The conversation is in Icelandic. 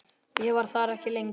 Ég var þar ekki lengi.